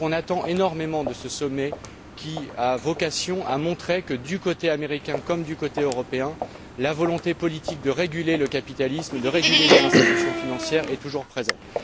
On attend donc énormément de ce sommet qui a vocation à montrer que, du côté américain comme du côté européen, la volonté politique de réguler le capitalisme, de réguler les institutions financières est toujours présente.